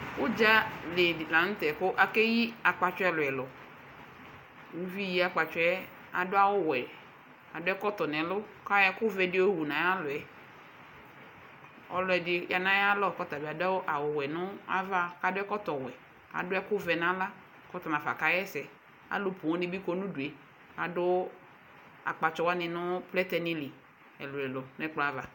Udzali la nu tɛ ku akeyi akpatsɔ ɛlu ɛlu uvi yi akpatsɔɛ adu awu wɛ adu ɛkɔtɔ nu ɛlu bedi yowu nayalɔ ɔlɔdi yanu ayalɔ ku tabi adu awu wɛ nava ku akɔ ɛkɔtɔ wɛ adu ɛkuvɛ nala nafa kawa ɛsɛalu poo nibi kɔ nu udue adu akpatsɔ wani nu plɛtɛ li ɛlu ɛlu nu ɛkplɔ ava